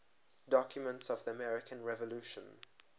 documents of the american revolution